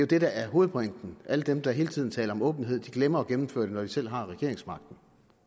det der er hovedpointen alle dem der hele tiden taler om åbenhed glemmer at gennemføre det når de selv har regeringsmagten